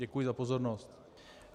Děkuji za pozornost.